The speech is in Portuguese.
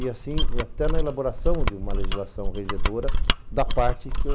E assim, até na elaboração de uma legislação regedora, da parte que eu...